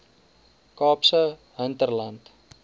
kaapse hinterland